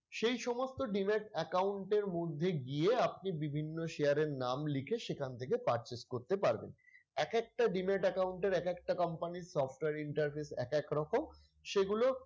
সেই সমস্ত demat account এর মধ্যে গিয়ে আপনি বিভিন্ন share এর নাম লিখে সেখান থেকে purchase করতে পারবেন। এক একটা demat account এর এক একটা company র software interface এক এক রকম সেগুলো,